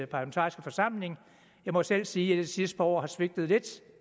parlamentariske forsamling jeg må selv sige i de sidste par år har svigtet lidt